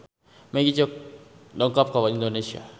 Magic dongkap ka Indonesia